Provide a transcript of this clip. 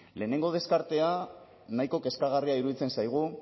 lehenengo deskartea nahiko kezkagarria iruditzen zaigu